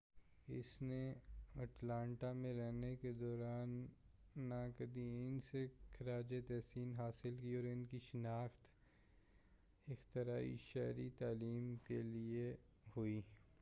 اس نے اٹلانٹا میں رہنے کے دوران ناقدین سے خراج تحسین حاصل کی اور ان کی شناخت اختراعی شہری تعلیم کے لئے ہوئی